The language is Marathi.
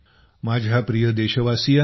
माझ्या प्रिय देशवासियांनो